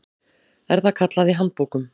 er það kallað í handbókum.